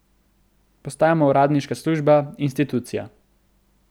Postajamo uradniška služba, institucija.